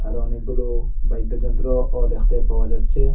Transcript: আরও অনেকগুলো বাইদ্যযন্ত্রও দেখতে পাওয়া যাচ্ছে।